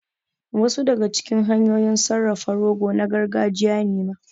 Wasu daga cikin hanyoyin sarrafa rogo na gargajiya ne ma